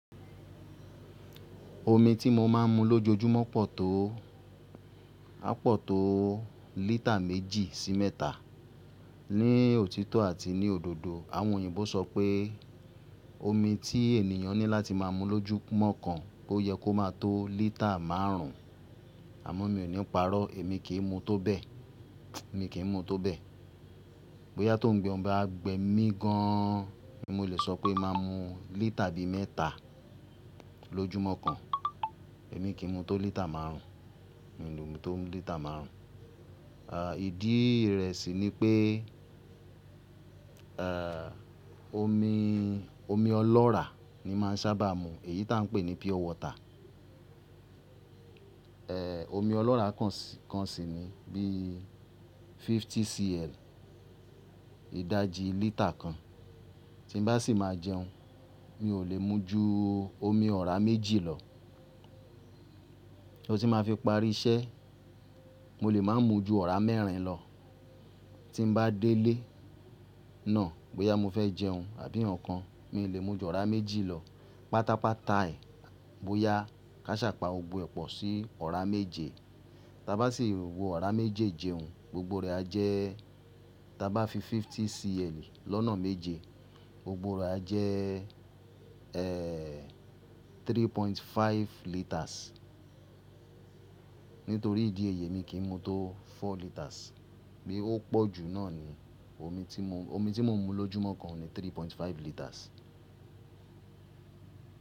Omi tí mo máa ń mu lójoojúmọ́ pọ̀ tó, á pọ̀ tó lítà méjì sí mẹ́ta. Ní òtítọ́ àti ní òdodo, àwọn òyìnbó sọ pé omi tí ènìyàn ní láti máa mu lójúmọ́ kan kó yẹ kó máa tó lítà márùn-ún. Àmọ́ mi ò níí parọ́, èmi kì í mu tó bẹ́ẹ̀. Èmi kì í mu tó bẹ́ẹ̀. Bóyá tó oungbẹ̀ ba wà gbẹ mí gan-an, mo lè sọ pé máa mu lítà bí mẹ́ta lójúmọ́ kan. Èmi kì í mu tó lítà márùn-ún. Mi ò lè mu tó lítà márùn-ún. Ìdí rẹ̀ sì ni pé, ẹ́, omi, omi ọlọ́ra ni màá ń sábà mu, èyí tá ń pè ní pure water. Ẹ̀, omi ọlọ́ra kan sì ni bí 50cl, ìdajì lítà kan. Tí n bá sì máa jẹun, mi ò lè mu ju omi ọ̀rá méjì lọ. So tí máa fi parí iṣẹ́, mo lè máa mu ju ọ̀rá mẹ́rin lọ. Tí n bá délé náà, bóyá mo fẹ́ jẹun àbí nǹkan, mi ò lè mu ju ọ̀rá méjì lọ. Pátápátá ẹ, bóyá kí àṣà pá gbogbo ẹ̀ pọ̀ sí ọ̀rá méje. Tá bá sì wo ọ̀rá méjejẹ òun, gbogbo rẹ̀ á jẹ́-- tá bá fi 50cl lọ́nà méje, gbogbo rẹ̀ á jẹ́, ẹ́, 3.5 litres. Nítorí ìdí èyí èmi kì í mu tó four liters. Bí ó pọ̀ jú náà ni omi tí mò ń mu lójúmọ́ kan ni 3.5 litres.